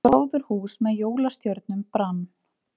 Gróðurhús með jólastjörnum brann